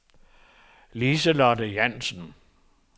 Lise-Lotte Jansen